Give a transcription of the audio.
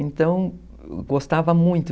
Então, gostava muito.